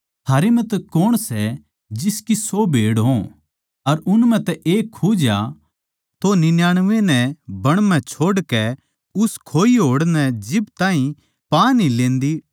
थारै म्ह तै कौण सै जिसकी सौ भेड़ हों अर उन म्ह तै एक खुज्या तो निन्यानमै नै बण म्ह छोड़कै उस खुई होड़ नै जिब ताहीं पा न्ही लेन्दी टोह्न्दा ना रहवैं